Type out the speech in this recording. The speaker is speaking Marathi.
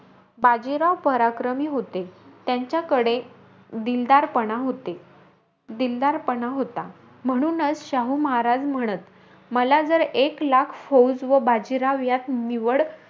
बाजीराव पराक्रमी होते. त्यांच्याकडे दिलदारपणा होते दिलदारपणा होता. म्हणूनचं शाहू महाराज म्हणत, मला जर एक लाख फौज व बाजीराव यात निवड,